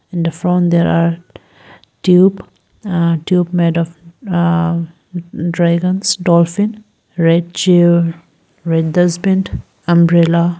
and the front there are tube uh tube made of ah dragons dolphin red chair red dust bin umbrella.